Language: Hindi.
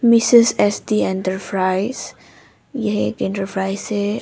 M S SD enterprise. यह एक इंटरप्राइज है।